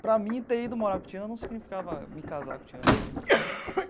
Para mim, ter ido morar com Tiana não significava me casar com Tiana.